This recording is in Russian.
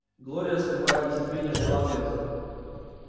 глория скрывая нетерпение ждала ответа